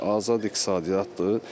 Azad iqtisadiyyatdır.